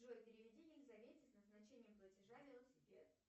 джой переведи елизавете с назначением платежа велосипед